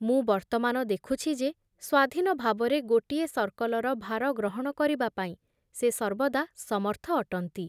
ମୁଁ ବର୍ତ୍ତମାନ ଦେଖୁଛି ଯେ ସ୍ଵାଧୀନ ଭାବରେ ଗୋଟିଏ ସର୍କଲର ଭାର ଗ୍ରହଣ କରିବା ପାଇଁ ସେ ସର୍ବଦା ସମର୍ଥ ଅଟନ୍ତି ।